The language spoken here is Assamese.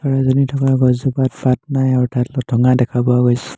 চৰাইজনী থকা গছজোপাত পাত নাই অৰ্থাৎ লথঙা দেখা পোৱা গৈছে।